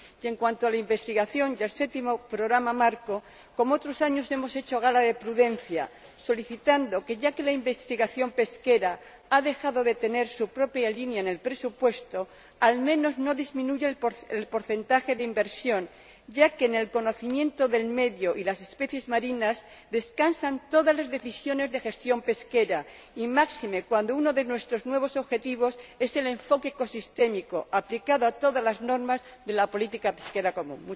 En cuanto a la investigación y el séptimo programa marco, como en otros años hemos hecho gala de prudencia y solicitado que, ya que la investigación pesquera ha dejado de tener su propia línea en el presupuesto, al menos no disminuya el porcentaje de inversión, ya que en el conocimiento del medio y las especies marinas descansan todas las decisiones de gestión pesquera, y máxime cuando uno de nuestros nuevos objetivos es el enfoque ecosistémico aplicado a todas las normas de la política pesquera común.